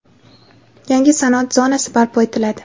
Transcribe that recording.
yangi sanoat zonasi barpo etiladi.